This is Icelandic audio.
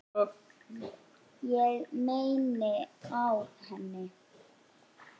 Ég mæni á hann.